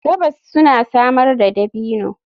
Gabas suna samar da dabino.